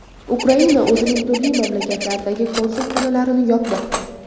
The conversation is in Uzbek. Ukraina o‘zining turli mamlakatlardagi konsulxonalarini yopmoqda.